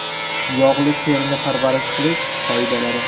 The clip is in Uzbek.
Yog‘li terini parvarish qilish qoidalari.